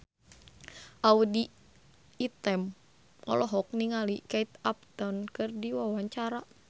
Audy Item olohok ningali Kate Upton keur diwawancara